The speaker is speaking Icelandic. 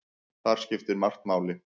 Þar skiptir margt máli.